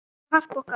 Elsku Harpa okkar.